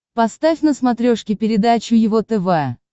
поставь на смотрешке передачу его тв